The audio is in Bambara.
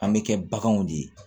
An bɛ kɛ baganw de ye